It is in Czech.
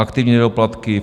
Aktivní nedoplatky: